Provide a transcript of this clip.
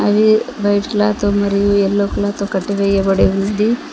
ఇది white cloth తో మరియు యెల్లో కలర్ తో కట్టి వేయబడి ఉంది.